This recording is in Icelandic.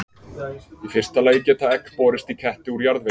Í fyrsta lagi geta egg borist í ketti úr jarðvegi.